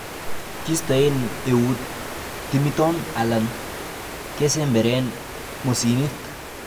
Kistoen eut timiton alan kesemberen mosinit.